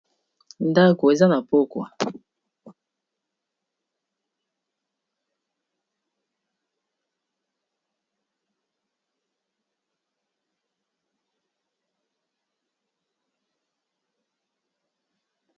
ndako eza ba pokwa.